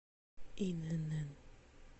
инн